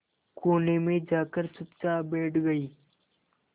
कोने में जाकर चुपचाप बैठ गई